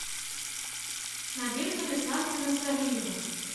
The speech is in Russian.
надежда александровна сариева